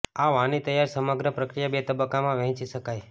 આ વાની તૈયાર સમગ્ર પ્રક્રિયા બે તબક્કામાં વહેંચી શકાય